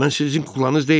Mən sizin kuklanız deyiləm!